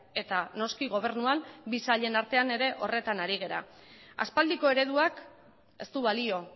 eta noski gobernuan bi sailen artean ere horretan ari gara aspaldiko ereduak ez du balio